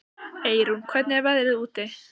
Eyrún, hvernig er veðrið úti?